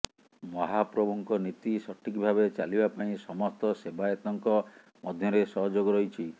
ମହାପ୍ରଭୁଙ୍କ ନୀତି ସଠିକ୍ ଭାବେ ଚାଲିବା ପାଇଁ ସମସ୍ତ ସେବାୟତଙ୍କ ମଧ୍ୟରେ ସହଯୋଗ ରହିଛି